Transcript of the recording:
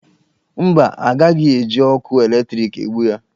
Mba, a gaghị eji ọkụ eletriki egbu ya.